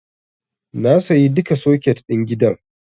Na sayi duka soket ɗin gidan.